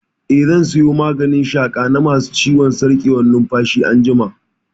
Eh, zan saya maganin shaƙa na ma su ciwon sarƙewar numfashi anjima